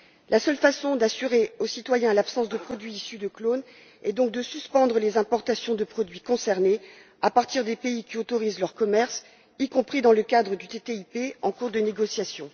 La seule façon d'assurer aux citoyens l'absence de produits issus de clones est donc de suspendre les importations des produits concernés à partir des pays qui autorisent leur commerce, y compris dans le cadre du PTCI en cours de négociation.